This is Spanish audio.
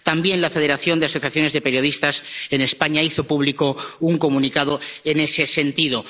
También la Federación de Asociaciones de Periodistas de España hizo público un comunicado en ese sentido.